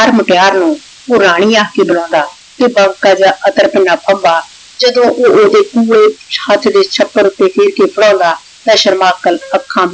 ਹਰ ਮੁਟਯਾਰ ਨੂ ਊ ਰਾਨੀ ਆਖ ਕੇ ਬੁਲਾਉਂਦਾ ਤੇ ਬਾਂਕਾ ਜੇਯ ਅਤਰ ਪਾਉਂਦਾ ਜਦੋਂ ਊ ਓਨ੍ਡੇ ਕੂਲੇ ਛੱਤ ਦੇ ਛਤਰ ਉਤੇ ਊਟੀ ਬਣਾਉਂਦਾ ਤਾਂ ਸ਼ਰਮਾਕਲ ਆਖਾਂ